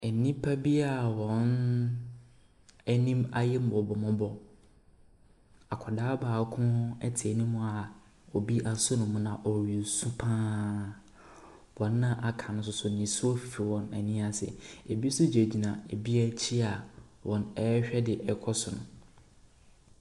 Nnipa bi a wɔn anim ayɛ mmɔbɔ mmɔbɔ. Akwadaa baako te anim a obi aso ne mu na ɔresu pa ara. Wɔn aka no nso ninsuo fifi wɔn ani ase. Ɛbi nso gyina ɛbi akyi a wɔrehwɛ deɛ ɛrekɔ so no.